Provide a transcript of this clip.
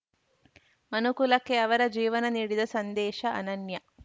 ಮನುಕುಲಕ್ಕೆ ಅವರ ಜೀವನ ನೀಡಿದ ಸಂದೇಶ ಅನನ್ಯ